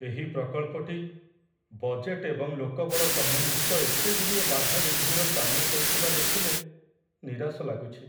ଏହି ପ୍ରକଳ୍ପଟି ବଜେଟ ଏବଂ ଲୋକବଳ ସମ୍ବନ୍ଧିତ ଏତେଗୁଡ଼ିଏ ବାଧାବିଘ୍ନର ସାମ୍ନା କରୁଥିବା ଦେଖିଲେ ନିରାଶ ଲାଗୁଛି।